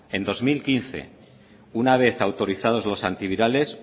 en dos mil quince una vez autorizados los antivirales